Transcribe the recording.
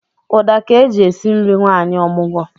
Ụda ka e ji esi nri nwanyị omụgwọ